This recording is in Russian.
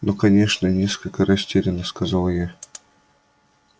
ну конечно несколько растеряно сказала я